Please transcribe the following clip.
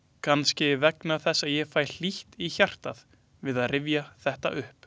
Kannski vegna þess að ég fæ hlýtt í hjartað við að rifja þetta upp.